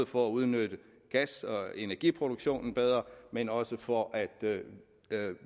for at udnytte gas og energiproduktion bedre men også for at